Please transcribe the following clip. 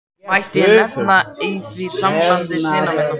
Mætti ég nefna í því sambandi syni mína.